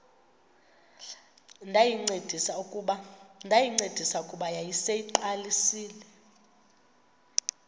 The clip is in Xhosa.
ndayincedisa kuba yayiseyiqalisile